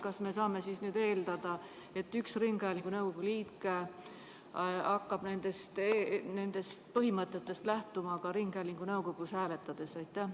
Kas me saame nüüd eeldada, et üks ringhäälingu nõukogu liige hakkab nendest põhimõtetest lähtuma ka ringhäälingu nõukogus hääletades?